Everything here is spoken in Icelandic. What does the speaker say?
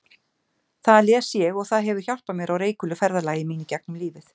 Það les ég og það hefur hjálpað mér á reikulu ferðalagi mínu gegnum lífið.